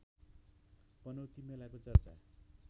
पनौती मेलाको चर्चा